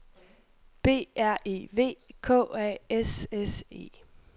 B R E V K A S S E